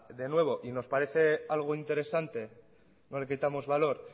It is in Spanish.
de nuevo y nos parece algo interesante no le quitamos valor